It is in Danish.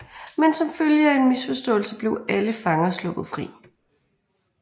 Men som følge af en misforståelse blev alle fanger sluppet fri